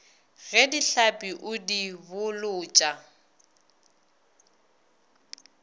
ge dihlapi o di bolotša